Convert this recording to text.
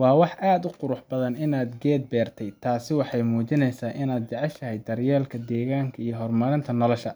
Waa wax aad u qurux badan inaad geed beertay—taasi waxay muujineysaa inaad jeceshahay daryeelka deegaanka iyo horumarinta nolosha.